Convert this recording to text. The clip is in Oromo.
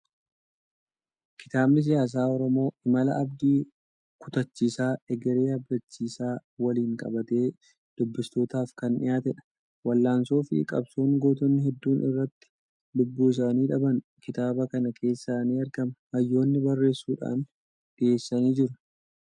Kitaabni " siyaasa Oromoo" imala abdii kutaachiisaa egeree abdachiisaa waliin qabatee dubbistootaaf kan dhiyaatedha. Wal'aansoo fi qabsoon gootonni hedduun irratti lubbuu isaanii dhaban kitaaba kana keessaa ni argama. Hayyoonni barreessuudhaan dhiyeessanii jiru.